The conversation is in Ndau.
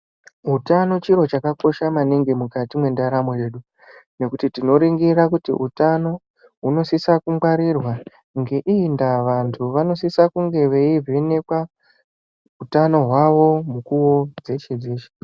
Utano chiro chakakosha maningi mukati mwendaramo yedu nekuti tinoningira kuti utano hunosisa kungwarirwa ngeiyi ndaa vantu vanosisa kunge veivhenekwa utano hwavo munguwa dzeshe dzeshe